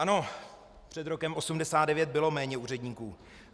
Ano, před rokem 1989 bylo méně úředníků.